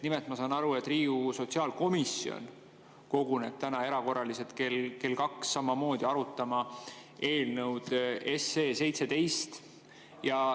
Nimelt, ma saan aru, et Riigikogu sotsiaalkomisjon koguneb täna erakorraliselt kell kaks samamoodi arutama eelnõu 17.